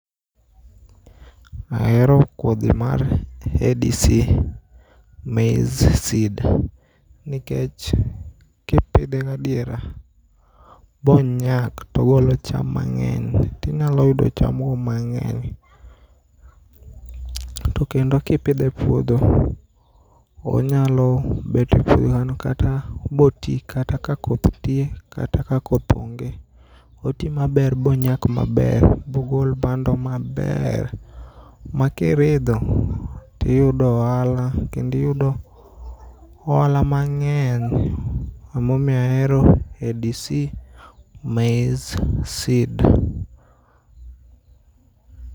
Ahero kodhi mar ADC Maize Seed nikech kipidhe gadiera bonyak togolo cham mang'eny. Tinyalo yudo chamgo mang'eny tokendo kipidhe e puodho onyalo bet e puodhono kata botii kata kakoth nitie kata ka koth onge. Otii maber bonyak maber mogol bando maber makiridho toiyudo ohala kendo iyudo ohala mang'eny emomiyo ahero ADC Maize Seed.